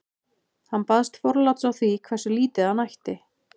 hann baðst forláts á því hversu lítið hann ætti